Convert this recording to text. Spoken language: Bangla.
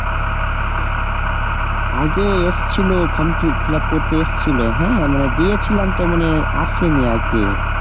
আগে এসেছিল form fill up করতে এসছিল হ্যাঁ মানে দিয়েছিলাম তো মানে আসেনি একদিনও